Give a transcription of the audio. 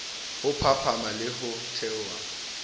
ho phahama le ho theoha